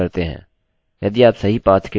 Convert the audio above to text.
हम यहाँ एक ओपन करने जा रहे हैं